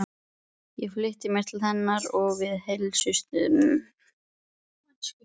Ég flýtti mér til hennar og við heilsuðumst.